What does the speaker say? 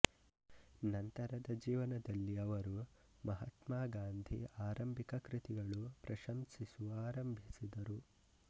ನಂತರದ ಜೀವನದಲ್ಲಿ ಅವರು ಮಹಾತ್ಮ ಗಾಂಧಿ ಆರಂಭಿಕ ಕೃತಿಗಳು ಪ್ರಂಶಸಿಸುವ ಆರಂಭಿಸಿದರು